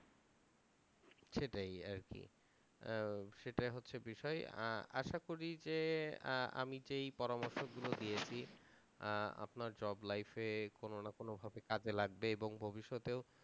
সেটাই আর কি। সেটা হচ্ছে বিষয়। আশা করি যে আমি যে এই পরামর্শ গুলো দিয়েছি আপনার জব লাইফে কোন না কোনভাবে কাজে লাগবে এবং ভবিষ্যতেও